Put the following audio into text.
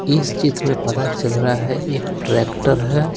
इस चित्र में पता चल रहा है एक ट्रैक्टर है।